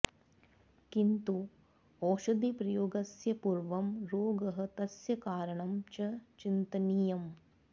किन्तु औशधिप्रयोगस्य पूर्वं रोगः तस्य कारणं च चिन्तनीयम